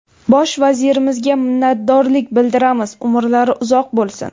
Bosh vazirimizga minnatdorlik bildiramiz, umrlari uzoq bo‘lsin.